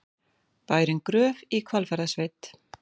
Bærinn Gröf í Hvalfjarðarsveit.